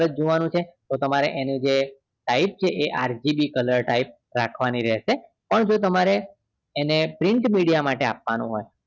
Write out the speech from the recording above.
પર જ જોવાનું છે તો તમારે જે એનું જે type એ RGB color type રાખવાની રહેશે પણ જો તમ્રે એને print media માટે આપવાનું હોય